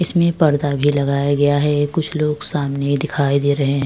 इसमें पर्दा भी लगाया गया है। कुछ लोग सामने दिखाई दे रहा हैं।